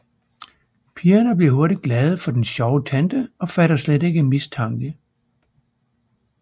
Pigerne bliver hurtigt glade for den sjove tante og fatter slet ikke mistanke